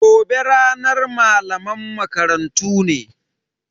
Gobe ranar malaman makarantu ne.